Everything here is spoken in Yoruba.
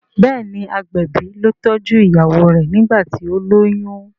béèni agbẹbi ló tọjú ìyàwó rẹ nigbati o loyún.